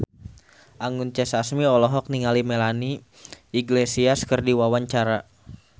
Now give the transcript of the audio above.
Anggun C. Sasmi olohok ningali Melanie Iglesias keur diwawancara